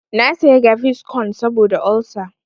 Na saya gaviscon saboda olsa.